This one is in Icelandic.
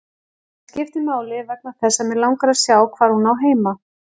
Það skiptir máli vegna þess að mig langar að sjá hvar hún á heima.